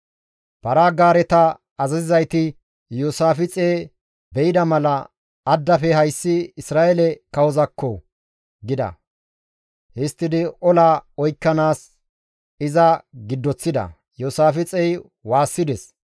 Para-gaareta azazizayti Iyoosaafixe be7ida mala, «Addafe hayssi Isra7eele kawozaakko!» gida. Histtidi ola oykkanaas iza giddoththida; Iyoosaafixey waassides.